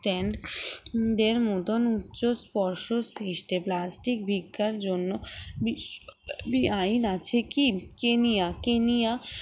stand দেড় মতন উচ্চ স্পর্শ সৃষ্টে plastic ভিক্ষার জন্য বিস আইন আছে কি কেনিয়া কেনিয়া